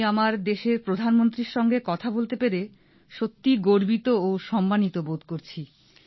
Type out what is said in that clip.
আমি আমাদের দেশের প্রধান মন্ত্রীর সঙ্গে কথা বলতে পেরে সত্যি গর্বিত ও সম্মানিত বোধ করছি